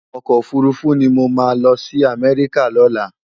Òkò ófúrúfú ni mó má lòsi Amèriká lòlá